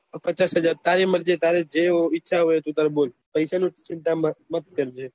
પચ્ચાસ હાજર તારી મરજી તારે જે એવો ઈચ્છા તું તારે બોલ પેસા ની ચિંતા મત કરજે